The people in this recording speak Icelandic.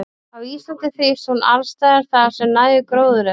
Á Íslandi þrífst hún alls staðar þar sem nægur gróður er.